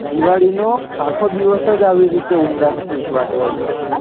દિવાળી નો તો અખો દિવસ જ આવી રીતે ઉલાશ થી ઊજવા તો હોય છે